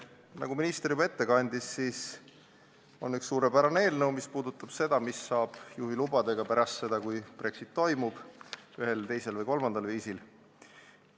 Nagu minister juba ette kandis, siis on üks suurepärane eelnõu selle kohta, mis saab juhilubadega pärast seda, kui Brexit toimub ühel, teisel või kolmandal viisil.